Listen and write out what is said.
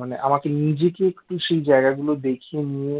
মানে আমাকে নিজেকে একটু সেই জায়গা গুলো দেখিয়ে নিয়ে